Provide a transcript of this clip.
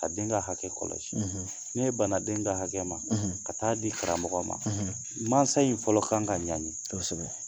Ka den ka hakɛ kɔlɔsi ne bana den ka hakɛ ma ka t'a di karamɔgɔ ma mansa in fɔlɔ kan ka ɲangi, kosɛbɛ.